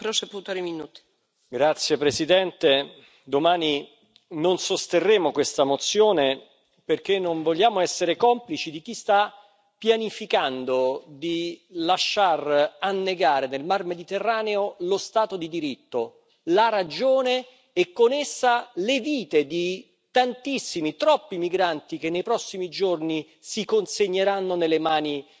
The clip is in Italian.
Signora Presidente, onorevoli colleghi, domani non sosterremo questa mozione perché non vogliamo essere complici di chi sta pianificando di lasciar annegare nel Mar Mediterraneo lo Stato di diritto, la ragione e con essa le vite di tantissimi, troppi migranti che nei prossimi giorni si consegneranno nelle mani